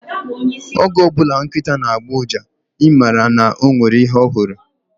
Oge ọbụla nkịta na-agbọ uja, I mara na o nwere ihe ọ hụrụ